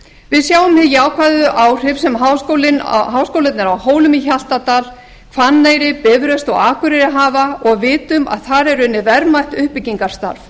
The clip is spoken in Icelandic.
við sjáum hin jákvæðu áhrif sem háskólarnir á hólum í hjaltadal hvanneyri bifröst og akureyri hafa og vitum að þar er unnið verðmætt uppbyggingarstarf